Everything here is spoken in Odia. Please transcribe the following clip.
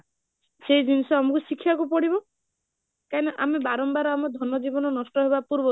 ସେଇ ଜିନିଷ ଆମକୁ ଶିଖିବାକୁ ପଡିବ, କାହିଁକିନା ଆମେ ବାରମ୍ବାର ଆମେ ଧନ ଜୀବନ ନଷ୍ଟ ହବା ପୂର୍ବ